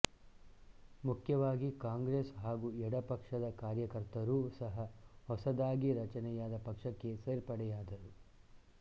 ಮುಖ್ಯವಾಗಿ ಕಾಂಗ್ರೆಸ್ ಹಾಗೂ ಎಡ ಪಕ್ಷದ ಕಾರ್ಯಕರ್ತರೂ ಸಹ ಹೊಸದಾಗಿ ರಚನೆಯಾದ ಪಕ್ಷಕ್ಕೆ ಸೇರ್ಪಡೆಯಾದರು